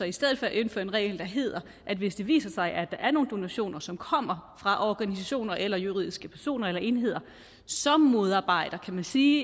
i stedet indføre en regel der hedder at hvis det viser sig er nogle donationer som kommer fra organisationer eller juridiske personer eller enheder som modarbejder kan man sige